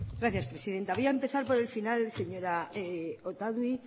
gracias presidenta voy a empezar por el final señora otadui